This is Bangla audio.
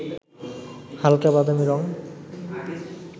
হালকা বাদামি রং